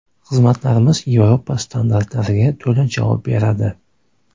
Xizmatlarimiz Yevropa standartlariga to‘la javob beradi.